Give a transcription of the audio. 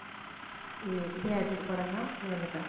அஹ் இதே அஜித் படம்தான் விழுந்துட்டான்